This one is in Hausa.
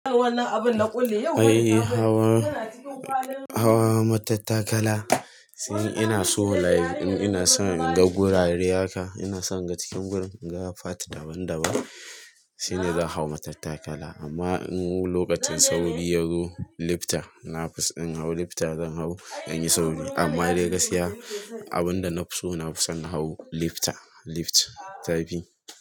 Eh, Hawa, Hawa matattakala, shine ina so like. Ina son in ga gurare haka, ina son in ga cikin gurin, in ga part daban daban shine zan hau matattakala. Amma in wulo lokacin sauri yazo, lifta nafiso in hau lifta zan hau inyi sauri. Amma dai gaskiya abunda nafi so, nafason in hau lifta, lift ta fi.